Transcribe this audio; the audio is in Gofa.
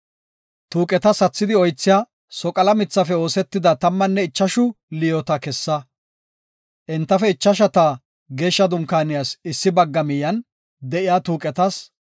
“Tuuqeta sathidi oythiya soqala mithafe oosetida tammanne ichashu liyoota kessa. Entafe ichashata Geeshsha Dunkaaniyas issi bagga miyen de7iya tuuqetas,